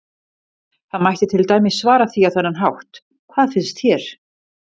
Það mætti til dæmis svara því á þennan hátt: Hvað finnst þér?